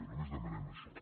només demanem això